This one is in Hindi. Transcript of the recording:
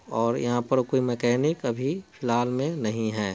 और यहाँ पर कोई मैकेनिक अभी फ़िलहाल में नहीं हैं।